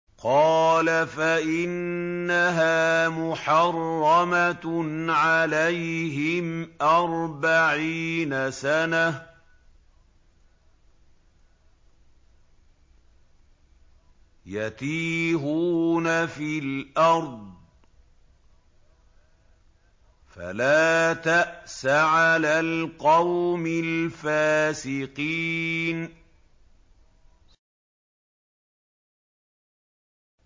قَالَ فَإِنَّهَا مُحَرَّمَةٌ عَلَيْهِمْ ۛ أَرْبَعِينَ سَنَةً ۛ يَتِيهُونَ فِي الْأَرْضِ ۚ فَلَا تَأْسَ عَلَى الْقَوْمِ الْفَاسِقِينَ